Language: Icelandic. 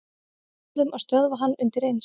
Verðum að stöðva hann undireins.